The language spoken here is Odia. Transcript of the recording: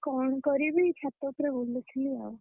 କଣ କରିବି ଛାତ ଉପରେ ବୁଲିଥିଲି ଆଉ।